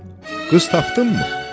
Oğul, qız tapdınmı?